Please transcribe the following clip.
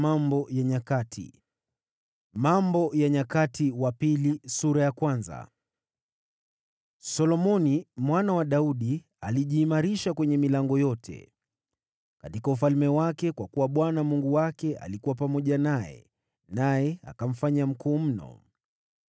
Solomoni mwana wa Daudi alijiimarisha kwenye milango yote! Katika ufalme wake, kwa kuwa Bwana Mungu wake alikuwa pamoja naye, naye akamfanya mkuu mno.